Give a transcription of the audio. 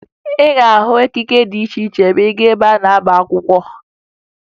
Ị ga-ahụ ekike dị iche iche ma ị gaa ebe a na-agba akwụkwọ